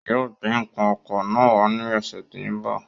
Yóò gbé n̄ ǹkan oko náà wá ní ọ̀sẹ̀ tí ń bọ̀.